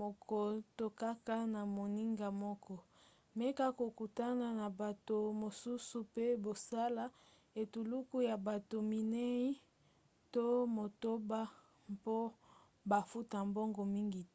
moko to kaka na moninga moko meka kokutana na bato mosusu mpe bosala etuluku ya bato minei to motoba mpo bafuta mbongo mingi te